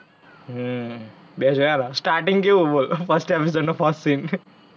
હમ બે જોયેલા starting કેવુ બોલ first episode નો first scene.